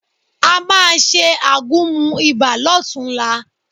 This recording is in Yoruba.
A máa ṣe àgúnmu ibà lọ́tunla